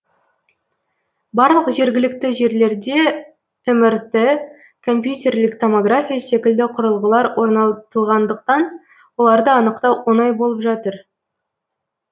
барлық жергілікті жерлерде мрт компьютерлік томография секілді құрылғылар орнатылғандықтан оларды анықтау оңай болып жатыр